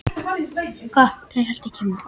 Bifreiðin var þá fyrir framan hann